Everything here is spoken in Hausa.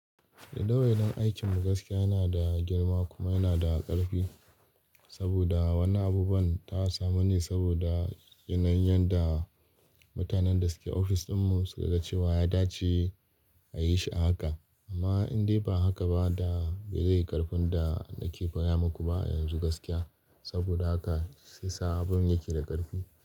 Daidawa aikin mu gaskiya yana da girma kuma yana da ƙarfi. Saboda wani abubuwan ta samu ne saboda yanayin yadda mutanen da suke ofis ɗinmu suka ga ce wa ya dace a yi shi a haka. Amma in dai ba haka ba da bai zai yi ƙarfin da nake koya muku ba yanzu gaskiya. Saboda haka sai sa abun yake da ƙarfi.